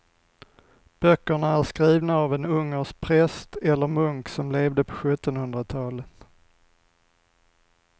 Böckerna är skrivna av en ungersk präst eller munk som levde på sjuttonhundratalet.